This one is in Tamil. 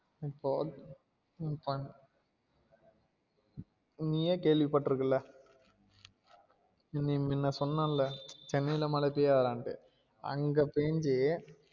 நீயே கேள்வி பட்டுருக்களே நான் சொன்னன்ல சென்னை ல மழ பெய்யதுடாண்டு அங்க பெஞ்சி